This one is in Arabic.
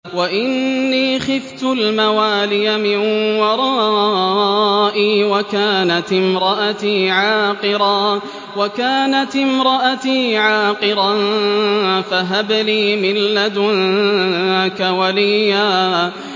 وَإِنِّي خِفْتُ الْمَوَالِيَ مِن وَرَائِي وَكَانَتِ امْرَأَتِي عَاقِرًا فَهَبْ لِي مِن لَّدُنكَ وَلِيًّا